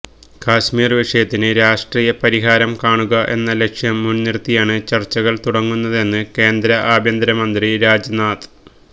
കശ്മീർ വിഷയത്തിന് രാഷ്ട്രീയ പരിഹാരം കാണുക എന്ന ലക്ഷ്യം മുൻനിർത്തിയാണ് ചർച്ചകൾ തുടങ്ങുന്നതെന്ന് കേന്ദ്ര ആഭ്യന്തര മന്ത്രി രാജ്നാ